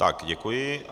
Tak děkuji.